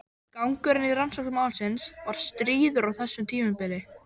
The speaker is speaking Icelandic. Gangurinn í rannsókn málsins var stríður á þessu tímabili.